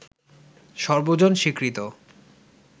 সর্বজন স্বীকৃত